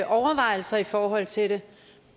overvejelser i forhold til det